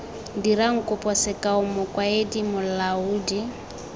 dirang kopo sekao mokaedi molaodi